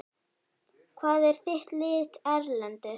Hvað er þitt lið erlendis?